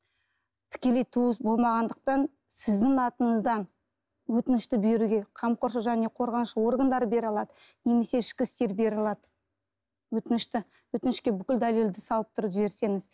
тікелей туыс болмағандықтан сіздің атыңыздан өтінішті беруге қамқоршы және қорғаншы органдары бере алады немесе ішкі істер бере алады өтінішті өтінішке бүкіл дәлелдерді салып тұрып жіберсеңіз